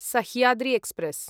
Sahyadri express